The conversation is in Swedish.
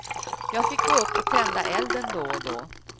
Jag fick gå upp och tända elden då och då.